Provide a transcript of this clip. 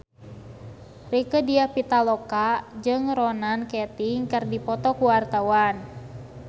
Rieke Diah Pitaloka jeung Ronan Keating keur dipoto ku wartawan